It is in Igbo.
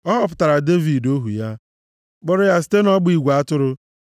Ọ họpụtara Devid, ohu ya, kpọrọ ya site nʼọgba igwe atụrụ;